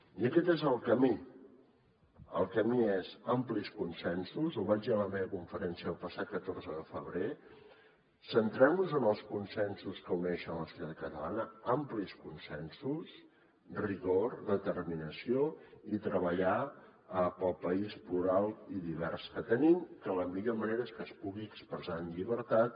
i aquest és el camí el camí és amplis consensos ho vaig dir a la meva conferència el passat catorze de febrer centrem nos en els consensos que uneixen la societat catalana amplis consensos rigor determinació i treballar pel país plural i divers que tenim que la millor manera és que es pugui expressar amb llibertat